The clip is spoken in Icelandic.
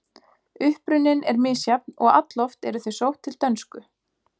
Uppruninn er misjafn og alloft eru þau sótt til dönsku.